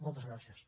moltes gràcies